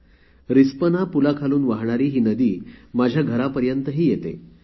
ही नदी रिस्पना पुलाच्या तिथून वाहून येत माझ्या घरापर्यंतही येते